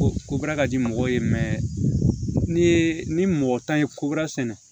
O kobaara ka di mɔgɔw ye mɛ n'i ye ni mɔgɔ tan ye kobara sɛnɛ